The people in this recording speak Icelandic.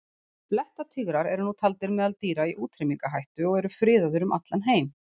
Blettatígrar eru nú taldir meðal dýra í útrýmingarhættu og eru friðaðir um allan heim.